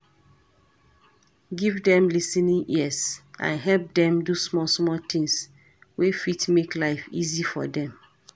Give dem lis ten ing ears and help dem do small small things wey fit make life easy for them